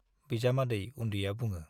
बिजामादै उन्दैया बुङो।